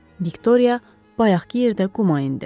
Viktoriya bayaqkı yerdə quma indi.